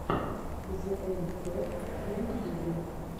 зээм топ в ютюбе